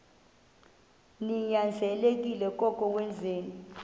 ninyanzelekile koko wenzeni